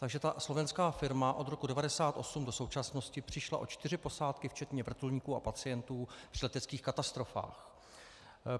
Takže ta slovenská firma od roku 1998 do současnosti přišla o čtyři posádky včetně vrtulníků a pacientů při leteckých katastrofách.